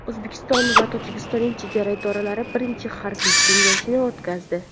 O‘zbekiston va Tojikistonning chegara idoralari birinchi harbiy kengashini o‘tkazdi.